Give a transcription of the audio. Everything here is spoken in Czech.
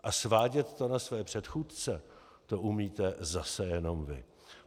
A svádět to na své předchůdce, to umíte zase jenom vy.